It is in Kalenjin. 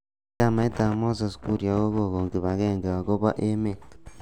Chamait ab Moses Kuria kokon kipagenge akobo emet.